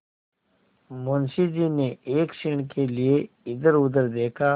मुंशी जी ने एक क्षण के लिए इधरउधर देखा